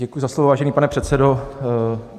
Děkuji za slovo, vážený pane předsedo.